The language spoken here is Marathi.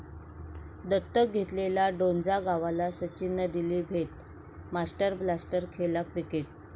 दत्तक घेतलेल्या डोंजा गावाला सचिननं दिली भेट, 'मास्टर ब्लास्टर' खेळला क्रिकेट